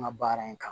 An ka baara in kan